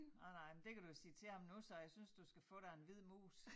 Nej nej men det kan du sige til ham nu så jeg synes du skal få dig en hvid mus